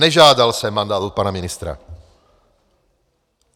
Nežádal jsem mandát od pana ministra.